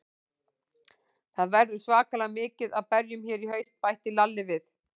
Það verður svakalega mikið af berjum hérna í haust, bætti Lalli við.